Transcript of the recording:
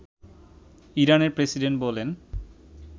ইরানের প্রেসিডেন্ট বলেন